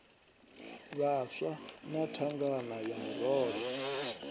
vhaswa na thangana ya murole